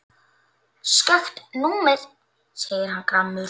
Skakkt númer segir hann gramur.